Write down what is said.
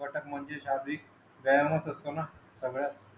मटक म्हणजे शारीरिक व्यायामच असतो ना